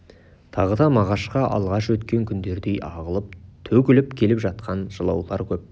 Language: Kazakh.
тағы да мағашқа алғаш өткен күндердей ағылып төгіліп келіп жатқан жылаулар көп